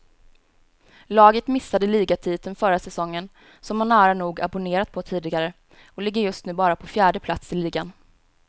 Laget missade ligatiteln förra säsongen, som man nära nog abonnerat på tidigare, och ligger just nu bara på fjärde plats i ligan.